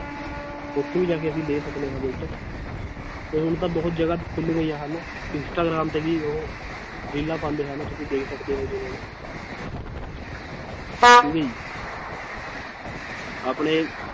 ਉੱਥੇ ਵੀ ਜਾ ਕੇ ਅਸੀਂ ਲੈ ਸਕਦੇ ਹਾਂ ਬੁਲਟ ਤੇ ਹੁਣ ਤਾਂ ਬਹੁਤ ਜ਼ਿਆਦਾ ਖੁੱਲ ਗਈਆਂ ਹਨ, ਇਸਟਾਗ੍ਰਾਮ ਤੇ ਵੀ ਉਹ ਰੀਲਾਂ ਪਾਉਂਦੇ ਹਨ ਤੁਸੀਂ ਦੇਖ ਸਕਦੇ ਹੋ ਜਿਵੇਂ ਠੀਕ ਹੈ ਜੀ ਆਪਣੇ